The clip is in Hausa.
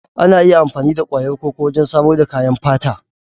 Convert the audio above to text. Ana iya amfani da ƙwayar koko wajen samar da kayan fata.